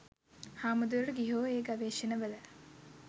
හාමුදුරුවරු ගිහියෝ ඒ ගවේශණවල